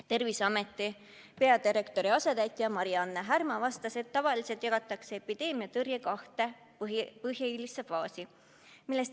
Terviseameti peadirektori asetäitja Mari-Anne Härma vastas, et üldiselt jagatakse epideemia tõrje kahte põhilisse faasi.